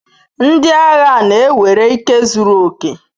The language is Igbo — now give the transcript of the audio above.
Ndị agha na-ewere ike zuru oke.